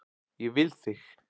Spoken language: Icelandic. Ég vil þig.